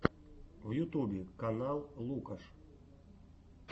в ютубе канал лукаш